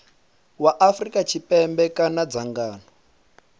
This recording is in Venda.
wa afrika tshipembe kana dzangano